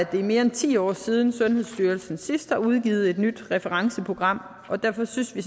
at det er mere end ti år siden at sundhedsstyrelsen sidst har udgivet et nyt referenceprogram og derfor synes vi